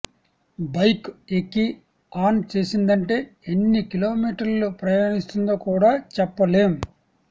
bike ఎక్కి on చేసిందంటే ఎన్ని కిలోమీటర్లు ప్రయాణిస్తుందో కూడా చెప్పలేం